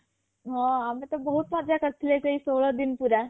ହଁ ଆମେ ତ ବହୁତ ମଜ଼ା କରିଥିଲେ ସେ ଷୋହଳ ଦିନ ପୁରା